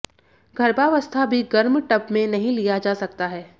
गर्भावस्था भी गर्म टब में नहीं लिया जा सकता है